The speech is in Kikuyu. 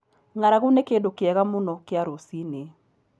Ng'aragu nĩ kĩndũ kĩega mũno kĩa rũcinĩ.